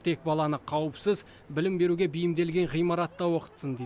тек баланы қауіпсіз білім беруге бейімделген ғимаратта оқытсын дейді